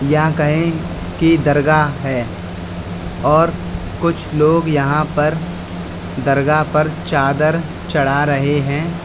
या कहे कि दरगाह है और कुछ लोग यहां पर दरगाह पर चादर चढ़ा रहे है।